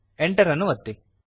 enter ಅನ್ನು ಒತ್ತಿ